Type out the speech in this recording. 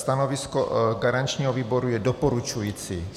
Stanovisko garančního výboru je doporučující.